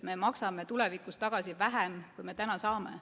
Me maksame tulevikus tagasi vähem, kui me täna saame.